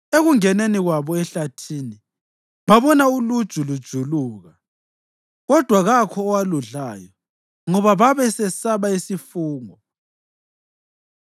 Ekungeneni kwabo ehlathini, babona uluju lujuluka, kodwa kakho owaludlayo, ngoba babesesaba isifungo.